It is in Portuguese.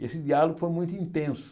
E esse diálogo foi muito intenso.